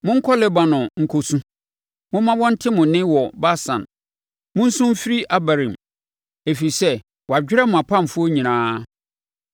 “Monkɔ Lebanon nkɔ su, momma wɔnte mo nne wɔ Basan; monsu mfiri Abarim, ɛfiri sɛ wɔadwerɛ mo mpamfoɔ nyinaa.